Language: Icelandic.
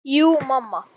Jú mamma.